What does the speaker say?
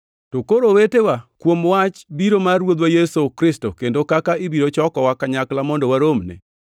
To koro owetewa, kuom wach biro mar Ruodhwa Yesu Kristo kendo kaka ibiro chokowa kanyakla mondo waromne,